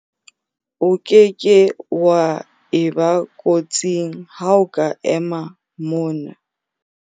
o ke ke wa eba kotsing ha o ka ema mona